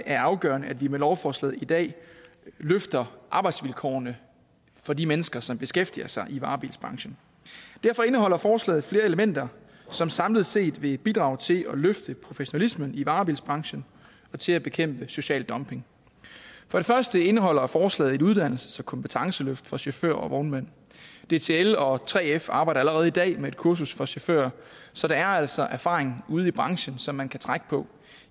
er afgørende at vi med lovforslaget i dag løfter arbejdsvilkårene for de mennesker som beskæftiger sig i varebilsbranchen derfor indeholder forslaget flere elementer som samlet set vil bidrage til at løfte professionalismen i varebilsbranchen og til at bekæmpe social dumping for det første indeholder forslaget et uddannelses og kompetenceløft for chauffører og vognmænd dtl og 3f arbejder allerede i dag med et kursus for chauffører så der er altså erfaring ude i branchen som man kan trække på